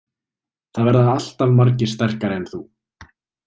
Það verða alltaf margir sterkari en þú.